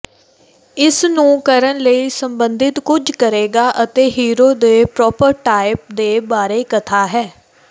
ਇਸ ਨੂੰ ਕਰਨ ਲਈ ਸੰਬੰਧਿਤ ਕੁਝ ਕਰੇਗਾ ਅਤੇ ਹੀਰੋ ਦੇ ਪ੍ਰੋਟੋਟਾਇਪ ਦੇ ਬਾਰੇ ਕਥਾ ਹੈ